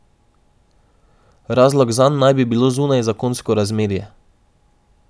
Razlog zanj naj bi bilo zunajzakonsko razmerje.